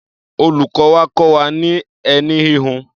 Olùkọ́ wa kọ́ wa ní ẹní híhun.